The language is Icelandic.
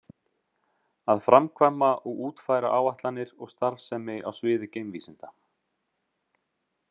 Að framkvæma og útfæra áætlanir og starfsemi á sviði geimvísinda.